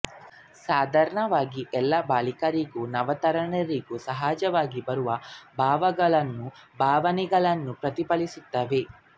ಸಾಧಾರಣವಾಗಿ ಎಲ್ಲ ಬಾಲಕರಿಗೂ ನವತರುಣರಿಗೂ ಸಹಜವಾಗಿ ಬರುವ ಭಾವಗಳನ್ನೂ ಭಾವನೆಗಳನ್ನೂ ಪ್ರತಿಫಲಿಸುತ್ತವೆ